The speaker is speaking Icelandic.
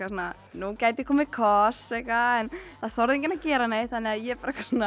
nú gæti komið koss en það þorði enginn að gera neitt þannig að ég